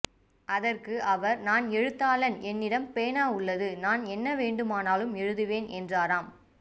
அதற்கு அவர் நான் எழுத்தாளன் என்னிடம் பேனா உள்ளது நான் என்ன வேண்டுமானாலும் எழுதுவேன் என்றாராம்